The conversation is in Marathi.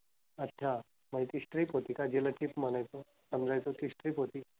अच्छा. म्हणजे ती strip होती का जिला chip म्हणायचो, समजायचो ती strip होती?